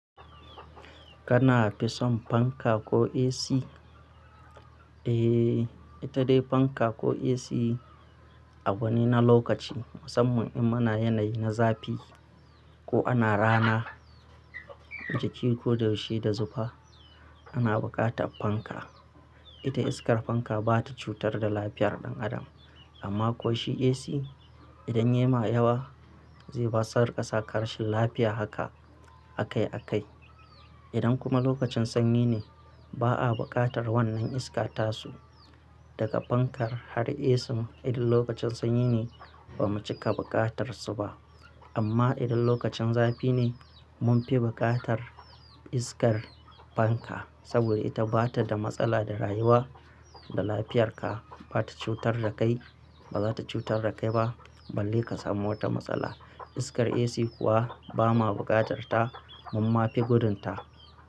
Kana fison fanka ko AC? Eh, ita dai fanka ko AC Abu ne na lokaci musamman in muna yanayi na zafi ko ana rana, jiki ko da yaushe da zufa ana buƙatar fanka. Ita iskar fanka bata cutar da lafiyar ɗan adam amma ko shi AC idan yayima yawa ze basar ka saka rashin lafiya haka a kai a kai. Idan kuma lokacin sanyi ne ba a buƙatar wannan iskata su daga fankar har AC idan lokacin sanyi ne ba mu cika buƙatar su ba. Amma idan lokacin zafi ne mun fi buƙatar iskar fanka saboda ita bata da matsala da rayuwa da lafiyarka bata cutar da kai bazata cutar da kai ba balle ka samu wata matsala. Iskar AC kuwa ba ma buƙatar ta mun ma fi gudun ta.